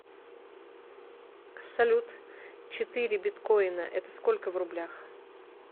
салют четыре биткоина это сколько в рублях